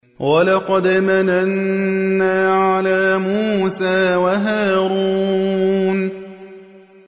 وَلَقَدْ مَنَنَّا عَلَىٰ مُوسَىٰ وَهَارُونَ